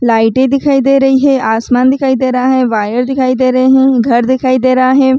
लाइटे दिखाई दे रही है आसमान दिखाई दे रहा है वायर दिखाई दे रहे है घर दिखाई दे रहा है।